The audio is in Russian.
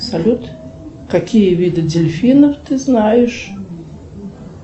салют какие виды дельфинов ты знаешь